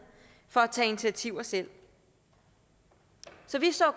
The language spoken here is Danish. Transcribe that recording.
for at tage initiativer selv så vi så